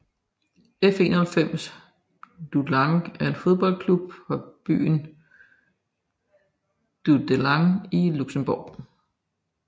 F91 Dudelange er en fodboldklub fra byen Dudelange i Luxembourg